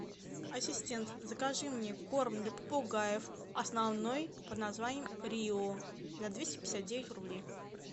ассистент закажи мне корм для попугаев основной под названием рио за двести пятьдесят девять рублей